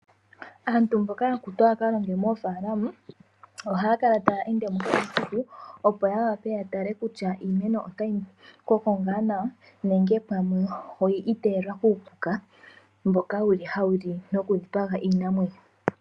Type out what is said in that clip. Aantu mbok yakutwa yaka longe mofalama ohaya kala taya endemo kehe esiku opo ya wape yatale kutya iimeno otayi koko nga nawa nonge pamwe oyitelwa kuupuka mboka wuli hawuli noku dhipaga iinamwenyo.